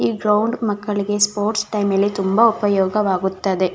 ಈ ಗ್ರೌಂಡ್ ಮಕ್ಕಳಿಗೆ sports time ಅಲ್ಲಿ ತುಂಬ ಉಪಯೋಗವಾಗುತ್ತದೆ.